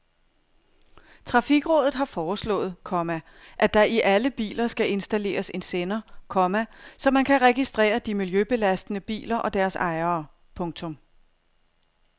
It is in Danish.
Trafikrådet har foreslået, komma at der i alle biler skal installeres en sender, komma så man kan registrere de miljøbelastende biler og deres ejere. punktum